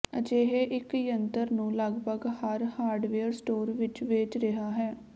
ਅਜਿਹੇ ਇੱਕ ਜੰਤਰ ਨੂੰ ਲਗਭਗ ਹਰ ਹਾਰਡਵੇਅਰ ਸਟੋਰ ਵਿੱਚ ਵੇਚ ਰਿਹਾ ਹੈ